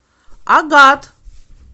агат